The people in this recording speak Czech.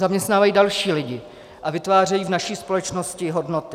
Zaměstnávají další lidi a vytvářejí v naší společnosti hodnoty.